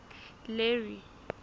larry